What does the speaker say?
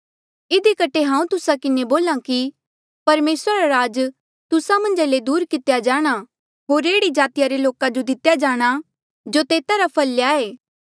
इधी कठे हांऊँ तुस्सा किन्हें बोल्हा कि परमेसरा रा राज तुस्सा मन्झा ले दूर करी दितेया जाणा होर एह्ड़ी जाति रे लोका जो दितेया जाणा जो तेता रा फल ल्याए